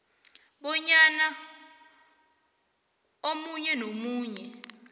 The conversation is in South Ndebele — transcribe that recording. bonyana omunye nomunye